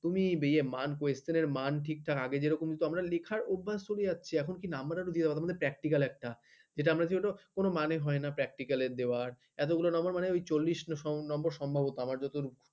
তুমি এ question এর মান question এর মান ঠিকঠাক আগে যেরকম লেখার অভ্যাস যদি কমে যাচ্ছে number বলতে এখন practical যেটা আমরা কি হতো কোন মানে হয় না practical দেওয়া এতগুলো number মানে ওই চলিস number সম্ভবত আমার,